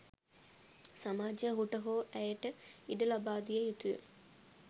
සමාජය ඔහුට හෝ ඇයට ඉඩ ලබාදිය යුතු ය.